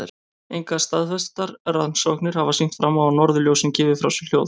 Engar staðfestar rannsóknir hafa sýnt fram á að norðurljósin gefi frá sér hljóð.